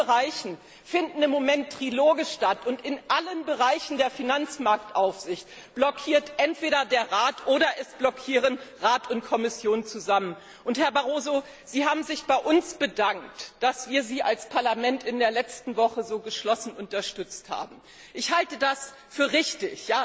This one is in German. In allen Bereichen finden im Moment die Triloge statt, und in allen Bereichen der Finanzmarktaufsicht blockiert entweder der Rat oder es blockieren Rat und Kommission zusammen. Herr Barroso, Sie haben sich bei uns bedankt, dass wir Sie als Parlament in der letzten Woche so geschlossen unterstützt haben. Ich halte das für richtig,